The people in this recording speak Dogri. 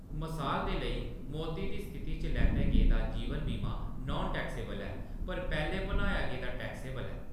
मसाल दे लेई, मौती दी स्थिति च लैता गेदा जीवन बीमा नान टैक्सेबल ऐ, पर पैह्‌‌‌ले भनाया गेदा टैक्सेबल ऐ।